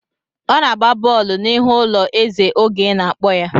Ọ na-gba bọọlụ n'ihu ụlọ ezè oge ị na-akpọ ya.